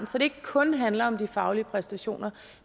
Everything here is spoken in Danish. så det ikke kun handler om de faglige præstationer